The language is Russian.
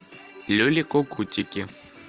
люли кукутики